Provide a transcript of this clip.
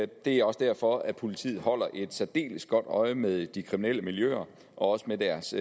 det er også derfor at politiet holder et særdeles godt øje med de kriminelle miljøer og også med deres